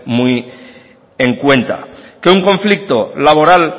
muy en cuenta que un conflicto laboral